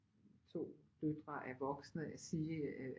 To døtre er voksne sige